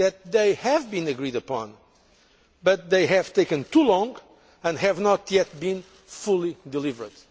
They have been agreed upon but they have taken too long and have not yet been fully delivered.